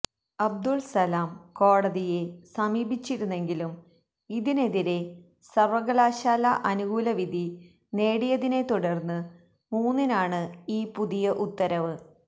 അബ്ദുൾസലാം കോടതിയെ സമീപിച്ചിരുന്നെങ്കിലും ഇതിനെതിരേ സർവകലാശാല അനുകൂലവിധി നേടിയതിനെത്തുടർന്ന് മൂന്നിനാണ് ഈ പുതിയ ഉത്തരവ്